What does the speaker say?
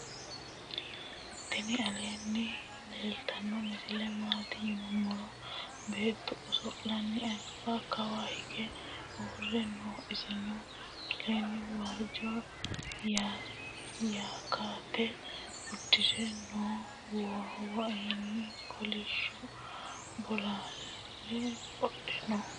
tini aleni leltano misile maati yinumoro. bettu oso'lanni alba kawa hige uure no. isino aleni wajo yaaketa udire noo. woeonni kolisho bolalw qodhe noo.